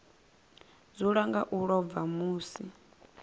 dzula nga u ḽova misi